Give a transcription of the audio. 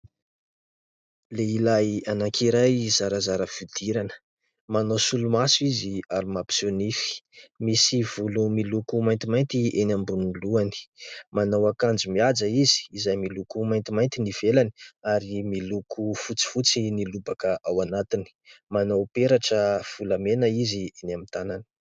Lehilahy anankiray zarazara fihodirana manao solomaso izy ary mampiseho nify. Misy volo miloko maintimainty eny ambonin'ny lohany. Manao akanjo mihaja izy izay miloko maintimainty ny ivelany ary miloko fotsifotsy ny lobaka ao anatiny. Manao peratra volamena izy eny amin'ny tànany.